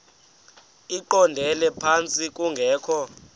eqondele phantsi kungekho